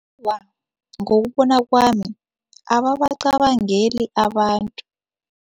Ngokubona kwami, ababacabangeli abantu.